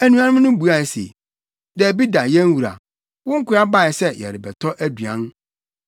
Anuanom no buae se, “Dabi da yɛn wura, wo nkoa bae sɛ yɛrebɛtɔ aduan.